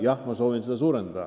Jah, ma sooviksin seda suurendada.